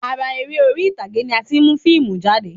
Ara eré orí ìtàgé ni a ti mu fiimu jáde